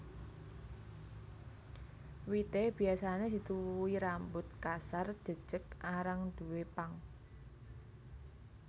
Wité biasané dituwuhi rambut kasar jejeg arang duwé pang